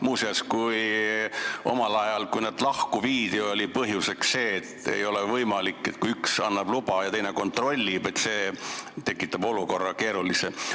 Muuseas, omal ajal, kui nad lahku viidi, toodi põhjuseks see, et ei ole võimalik, kui üks annab loa ja teine kontrollib, sest see tekitab keerulise olukorra.